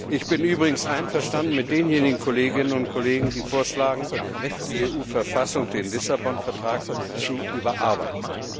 Ich bin übrigens einverstanden mit denjenigen Kolleginnen und Kollegen, die vorschlagen, die EU Verfassung den Vertrag von Lissabon zu überarbeiten.